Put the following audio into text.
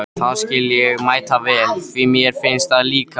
Það skil ég mætavel, því mér finnst það líka!